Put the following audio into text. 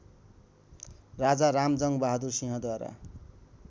Raja Ramjangbahadur सिंहद्वारा